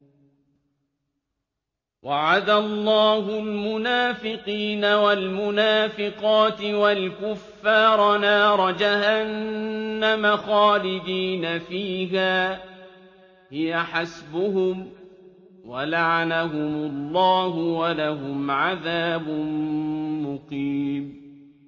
وَعَدَ اللَّهُ الْمُنَافِقِينَ وَالْمُنَافِقَاتِ وَالْكُفَّارَ نَارَ جَهَنَّمَ خَالِدِينَ فِيهَا ۚ هِيَ حَسْبُهُمْ ۚ وَلَعَنَهُمُ اللَّهُ ۖ وَلَهُمْ عَذَابٌ مُّقِيمٌ